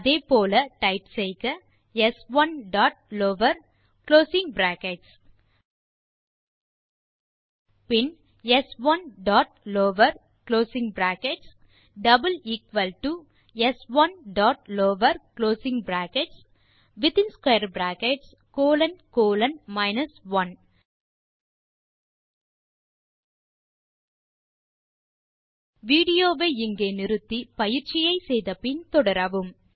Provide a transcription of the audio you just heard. அதே போல டைப் செய்க ஸ்1 டாட் லவர் குளோசிங் பிராக்கெட்ஸ் பின் ஸ்1 dot lower closing brackets is equal to is equal to ஸ்1 dot lower closing brackets within square bracket colon colon 1 video வை நிறுத்தி பயிற்சியை முடித்த பின் தொடரவும்